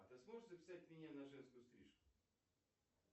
а ты сможешь записать меня на женскую стрижку